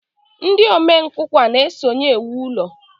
Ndị omenkụkwa na-esonye ewu ulo